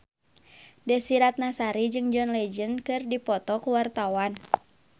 Desy Ratnasari jeung John Legend keur dipoto ku wartawan